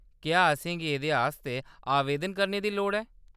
क्या असेंगी एह्‌‌‌दे आस्तै आवेदन करने दी लोड़ ऐ ?